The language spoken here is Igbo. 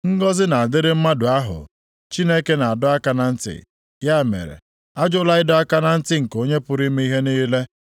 “Ngọzị na-adịrị mmadụ ahụ Chineke na-adọ aka na ntị; ya mere, ajụla ịdọ aka na ntị nke Onye pụrụ ime ihe niile.